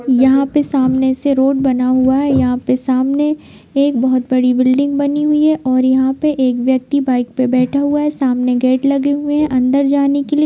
यहाँ पे सामने से रोड बना हुआ है यहाँ पे सामने एक बहुत बड़ी बिल्डिंग बनी हुई है और यहाँ पे एक व्यक्ति बाइक पे बैठा हुआ है सामने गेट लगे हुए हैं अंदर जाने के लिए।